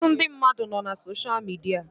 Ọtụtụ ndị mmadụ nọ na sosha midia